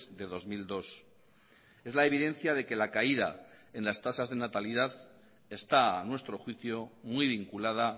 de dos mil dos es la evidencia de que la caída en las tasas de natalidad está a nuestro juicio muy vinculada